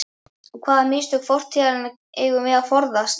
Og hvaða mistök fortíðar eigum við að forðast?